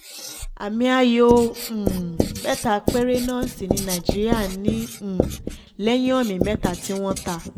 àmì ayò um mẹ́ta péré náà sì ni nàìjíríà ní um lẹ́yìn omi mẹ́ta tí wọ́n ta